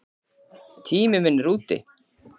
Tími minn er úti.